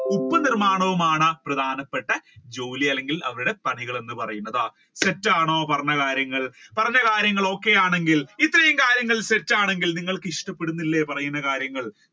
ഉപ്പു നിര്മാണവുമാണ് പ്രധാനപ്പെട്ട ജോലി അല്ലെങ്കിൽ പണി എന്ന് പറയുന്നത് തെറ്റ് ആണോ പറഞ്ഞ കാര്യങ്ങൾ പറഞ്ഞ കാര്യങ്ങൾ okay ആണെങ്കിൽ ഇത്രയൂം കാര്യങ്ങൾ തെറ്റ് ആണെങ്കിൽ നിങ്ങൾക്ക് ഇഷ്ടപ്പെടുന്നില്ല പറയുന്ന കാര്യങ്ങൾ